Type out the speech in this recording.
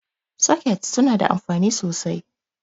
Sokets suna da anfani sosai.